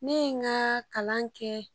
Ne ye n ka kalan kɛ